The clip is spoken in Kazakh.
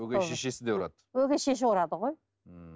өгей шешесі де ұрады өгей шеше ұрады ғой ммм